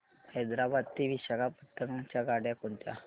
हैदराबाद ते विशाखापट्ण्णम च्या गाड्या कोणत्या